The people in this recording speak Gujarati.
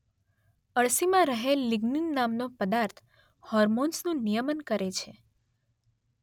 અળસીમાં રહેલ લીગ્નીન નામનો પદાર્થ હોર્મોન્સનુ નિયમન કરે છે